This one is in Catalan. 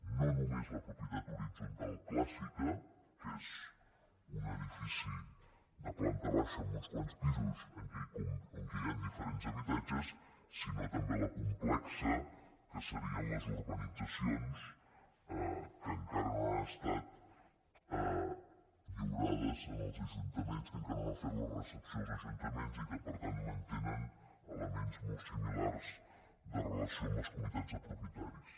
i no només la propietat horitzontal clàssica que és un edifici de planta baixa amb uns quants pisos en què hi han diferents habitatges sinó també la complexa que serien les urbanitzacions que encara no han estat lliurades als ajuntaments que encara no n’han fet la recepció els ajuntaments i que per tant mantenen elements molt similars de relació amb les comunitats de propietaris